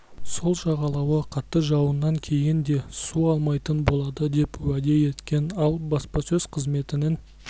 сол жағалауы қатты жауыннан кейін де су алмайтын болады деп уәде еткен ал баспасөз қызметінің